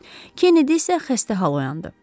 Kennedi isə xəstə hal oyandı.